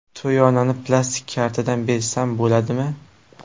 To‘yonani plastik kartadan bersam bo‘ladimi?